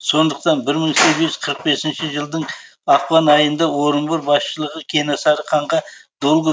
сондықтан бір мың сегіз жүз қырық бесінші жылдың ақпан айында орынбор басшылығы кенесары ханға долгов